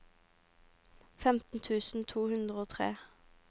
femten tusen to hundre og tre